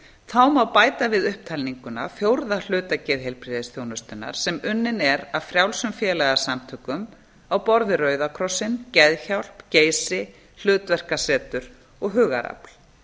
þá má bæta við upptalninguna fjórða hluta geðheilbrigðisþjónustunnar sem unninn er af frjálsum félagasamtökum á borð við rauða krossinn geðhjálp geysi hlutverkasetur og hugarafl